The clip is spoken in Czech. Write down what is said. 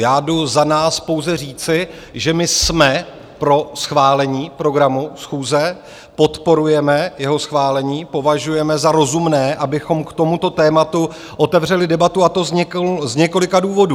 Já jdu za nás pouze říci, že my jsme pro schválení programu schůze, podporujeme jeho schválení, považujeme za rozumné, abychom k tomuto tématu otevřeli debatu, a to z několika důvodů.